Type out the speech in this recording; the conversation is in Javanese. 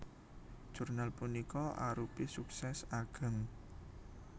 Jurnal punika arupi suksès ageng